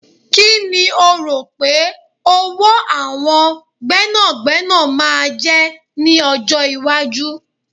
Kíni o rò pé owó àwọn gbẹ́nàgbẹ́nà máa jẹ́ ní ọjọ́ iwájú?